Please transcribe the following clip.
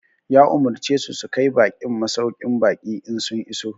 Ya Umarce su su kai baƙin masauƙin baƙi in sun iso